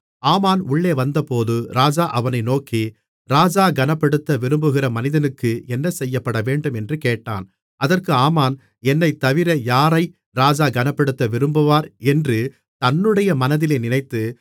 ஆமான் உள்ளே வந்தபோது ராஜா அவனை நோக்கி ராஜா கனப்படுத்த விரும்புகிற மனிதனுக்கு என்ன செய்யப்படவேண்டும் என்று கேட்டான் அதற்கு ஆமான் என்னைத்தவிர யாரை ராஜா கனப்படுத்த விரும்புவார் என்று தன்னுடைய மனதிலே நினைத்து